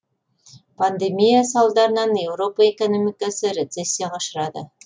пандемия салдарынан еуропа экономикасы рецессияға ұшырады